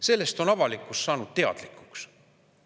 Sellest on avalikkus saanud teadlikuks.